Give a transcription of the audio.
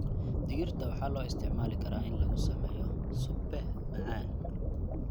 Digirta waxaa loo isticmaali karaa in lagu sameeyo suppe macaan.